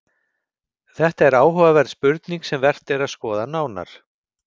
Þetta er áhugaverð spurning sem vert er að skoða nánar.